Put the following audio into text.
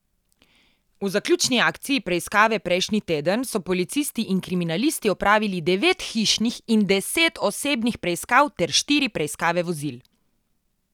V zaključni akciji preiskave prejšnji teden so policisti in kriminalisti opravili devet hišnih in deset osebnih preiskav ter štiri preiskave vozil.